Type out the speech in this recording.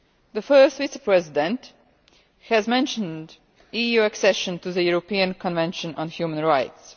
The First Vice President has mentioned EU accession to the European Convention on Human Rights.